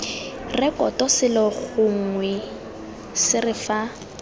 rekoto selo gongwe sere fa